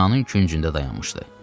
və binanın küncündə dayanmışdı.